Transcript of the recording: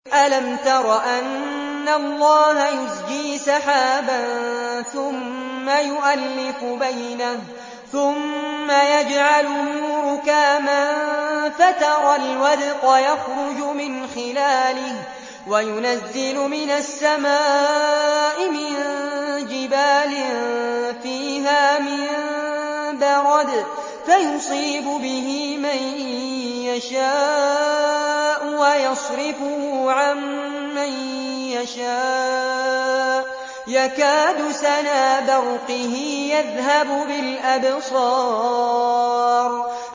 أَلَمْ تَرَ أَنَّ اللَّهَ يُزْجِي سَحَابًا ثُمَّ يُؤَلِّفُ بَيْنَهُ ثُمَّ يَجْعَلُهُ رُكَامًا فَتَرَى الْوَدْقَ يَخْرُجُ مِنْ خِلَالِهِ وَيُنَزِّلُ مِنَ السَّمَاءِ مِن جِبَالٍ فِيهَا مِن بَرَدٍ فَيُصِيبُ بِهِ مَن يَشَاءُ وَيَصْرِفُهُ عَن مَّن يَشَاءُ ۖ يَكَادُ سَنَا بَرْقِهِ يَذْهَبُ بِالْأَبْصَارِ